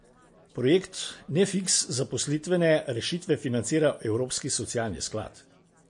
Projekt Nefiks zaposlitvene rešitve financira Evropski socialni sklad.